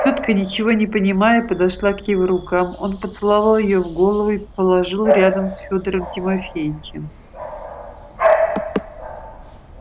тётка ничего не понимая подошла к его рукам он поцеловал её в голову и положил рядом с фёдором тимофеичем